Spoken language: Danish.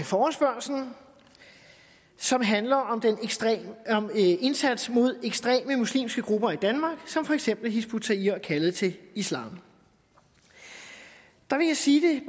forespørgslen som handler om indsatsen mod ekstreme muslimske grupper i danmark som for eksempel hizb ut tahrir og kaldet til islam der vil jeg sige det